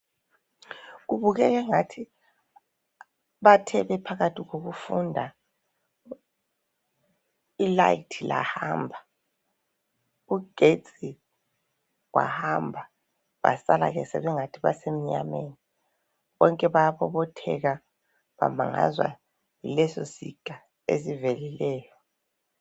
Kubukeka angathi bathe bephakathi kokufunda ilayithi lahamba ugesti wahamba basala sebengathi basebunyameni bonke bayabobotheka bamangazwa yileso siga esivelileyo.